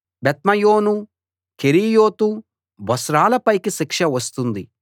Beth Meon Kerioth Bozrah ల పైకి శిక్ష వస్తుంది